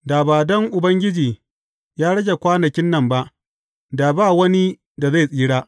Da ba don Ubangiji ya rage kwanakin nan ba, da ba wani da zai tsira.